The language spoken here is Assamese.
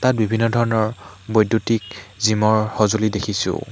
ইয়াত বিভিন্ন ধৰণৰ বৈদ্যুতিক জিমৰ সঁজুলি দেখিছোঁ।